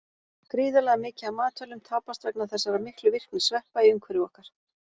Gríðarlega mikið af matvælum tapast vegna þessara miklu virkni sveppa í umhverfi okkar.